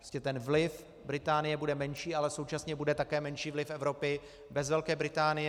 Prostě ten vliv Británie bude menší, ale současně bude také menší vliv Evropy bez Velké Británie.